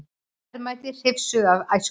Verðmæti hrifsuð af æskunni